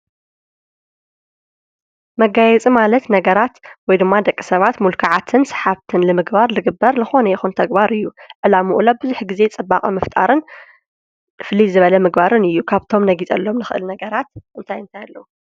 መጋየፅ ማለት ነገራት ወይ ድማ ደቂ ሰባት ሙልክዓትን ሰሓብት ንምግባር ልግበር ልኾነ የኹን ተግባር እዩ። ዕላምኡ እውን ብዙኅ ጊዜ ጽባቐ ምፍጣርን ፍሊ ዝበለ ምግባርን እዩ። ካብቶም ነጊጸሎም ንኽእል ነገራት እንታይ እንታያ ኣለዉ?